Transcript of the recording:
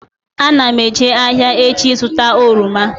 Ana m eje ahịa echi ịzụta oroma